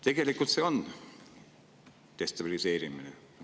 Tegelikult on see destabiliseerimine.